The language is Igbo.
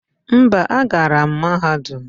Mba, agara m mahadum.